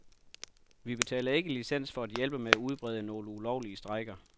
Vi betaler ikke licens for at hjælpe med at udbrede nogle ulovlige strejker.